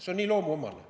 See on nii loomuomane.